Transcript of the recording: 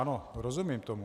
Ano, rozumím tomu.